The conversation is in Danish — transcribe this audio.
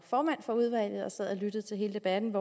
formand for udvalget og sad og lyttede til hele debatten